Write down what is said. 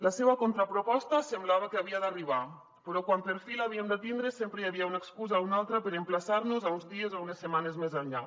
la seua contraproposta semblava que havia d’arribar però quan per fi l’havíem de tindre sempre hi havia una excusa o una altra per emplaçar nos uns dies o unes setmanes més enllà